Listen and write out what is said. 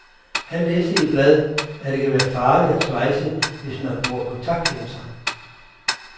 Han læste i et blad, at det kan være farligt at svejse, hvis man bruger kontaktlinser.